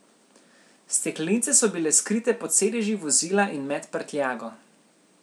Steklenice so bile skrite pod sedeži vozila in med prtljago.